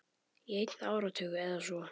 Í einn áratug eða svo.